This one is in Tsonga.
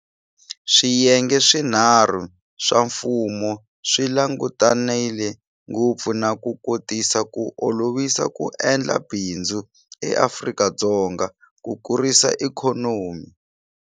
Swiyenge swinharhu swa mfumo swi langutanile ngopfu na ku kotisa ku olovisa ku endla bindzu eAfrika-Dzonga ku kurisa ikhonomi.